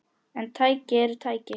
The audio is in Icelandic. En tæki eru tæki.